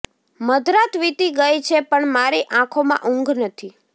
મધરાત વીતી ગઈ છે પણ મારી આંખોમાં ઊંઘ નથી